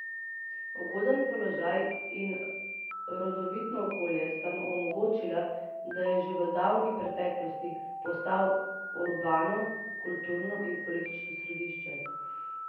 Ugoden položaj in rodovitno okolje sta mu omogočila, da je že v davni preteklosti postal urbano, kulturno in politično središče.